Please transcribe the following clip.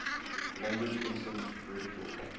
language instinct ridiculed